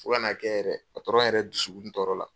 Fo ka n'a kɛ yɛrɛ yɛrɛ dusukun tɔɔrɔ la.